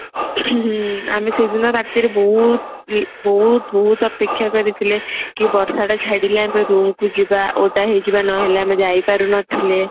ଆମେ ସେଦିନ ରାତିରେ ବହୁତ ବହୁତ ବହୁତ ଅପେକ୍ଷା କରିଥିଲେ କି ବର୍ଷା ଟା ଛାଡିଲେ ଆମେ room କୁ ଯିବା ଓଦା ହେଇଯିବା ନହେଲେ ଆମେ ଯାଇ ପାରୁନଥିଲେ